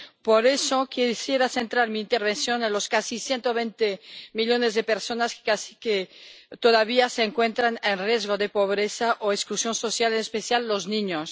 Por eso, quisiera centrar mi intervención en los casi 120 millones de personas que todavía se encuentran en riesgo de pobreza o exclusión social, en especial los niños.